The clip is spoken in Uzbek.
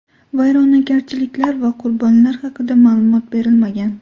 Vayronagarchiliklar va qurbonlar haqida ma’lumot berilmagan.